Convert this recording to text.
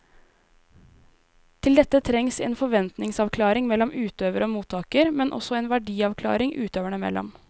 Til dette trengs det en forventningsavklaring mellom utøver og mottaker, men også en verdiavklaring utøverne imellom.